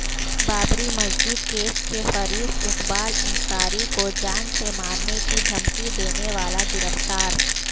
Babri Masjid case کےفریق اقبال انصاری کوجان سے مارنےکی دھمکی دینے والا گرفتار